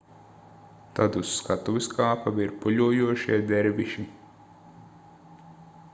tad uz skatuves kāpa virpuļojošie derviši